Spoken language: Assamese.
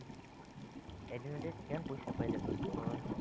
এদিনতে কিমান পইচা পাই যাবা ভাবাচোন ?